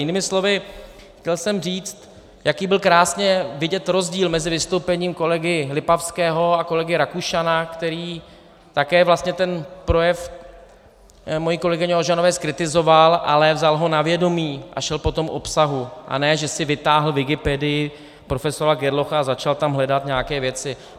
Jinými slovy, chtěl jsem říct, jaký byl krásně vidět rozdíl mezi vystoupením kolegy Lipavského a kolegy Rakušana, který také vlastně ten projev mojí kolegyně Ožanové zkritizoval, ale vzal ho na vědomí a šel po tom obsahu, a ne, že si vytáhl Wikipedii, profesora Gerlocha a začal tam hledat nějaké věci.